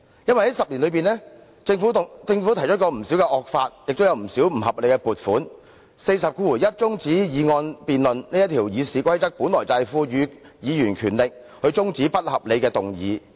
在這10年內，政府曾提出不少惡法和不合理的撥款，《議事規則》第401條賦予議員權力中止不合理的議案。